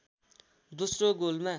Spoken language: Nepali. दोस्रो गोलमा